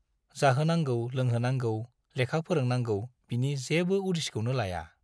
जाहोनांगौ लोंहोनांगौ, लेखा फोरोंनांगौ बिनि जेबो उदिसखौनो लाया।